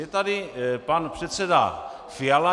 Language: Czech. Je tady pan předseda Fiala.